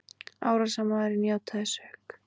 Árásarmaðurinn játaði sök